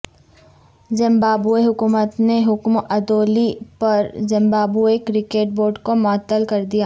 Zimbabwe حکومت نے حکم عدولی پرزمبابوے کرکٹ بورڈ کومعطل کردیا